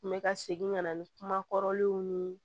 N bɛ ka segin ka na ni kuma kɔrɔlenw ye